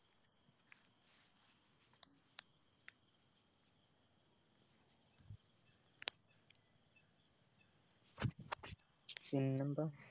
പിന്നെന്താ